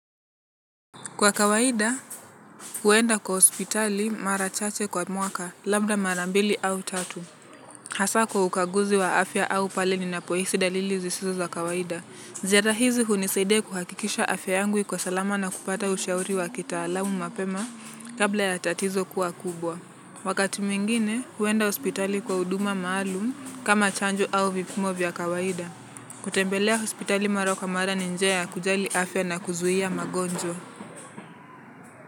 Kwa kawaida, huenda kwa ospitali mara chache kwa mwaka, labda mara mbili au tatu. Hasaa kwa ukaguzi wa afya au pale ninapoisi dalili zisizo za kawaida. Ziyadahizi hunisaidia kuhakikisha afya yangu iko salama na kupata ushauri wa kitaalamu mapema kabla ya tatizo kuwa kubwa. Wakati mwingine, huenda ospitali kwa uduma maalum kama chanjo au vipimo vya kawaida. Kutembelea ospitali mara kwa mara ninjia ya kujali afya na kuzuhia magonjwa.